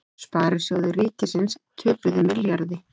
Sparisjóðir ríkisins töpuðu milljarði